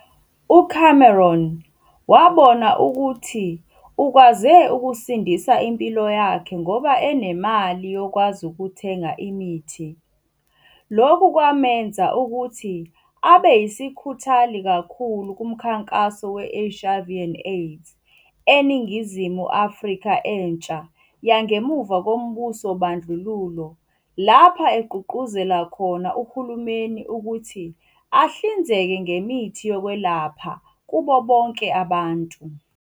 UCameron wabona ukuthi ukwaze ukusindisa impilo yakhe ngoba enemali yokwazi ukuthenga imithi, lokhu kwameza ukuthi abe yisikhuthali kakhulu kumkhankaso we-HIV and AIDS eNingizimu Afrika entsha yangemuva kombuso wobandlululo, lapha agqugquzela khona uhulumeni ukuthi ahlinzeke ngemithi yokwelapha kubo bonke abantu.